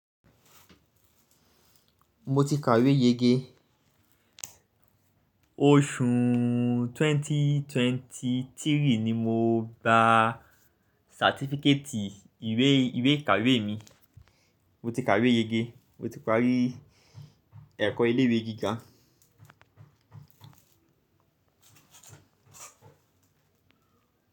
Mo ti kàwé yege. Oṣù 2023 ni mo gba satifíkétì ìwé ìkàwé mi. Mo ti kàwé yege. Mo ti parí ẹ̀kọ́ ilé ìwé gíga.